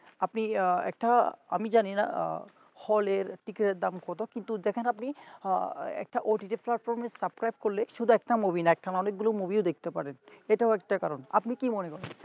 আপনি একটা আমি জানিনা হলের ticket র দাম কত কিন্তু দেখেন আপনি একটা ott platform subscribe করলে শুধু একটা movie না একসাতে অনেকগুলো movie দেখতে পারেন এটা হচ্ছে কারণ আপনি কি মনে করেন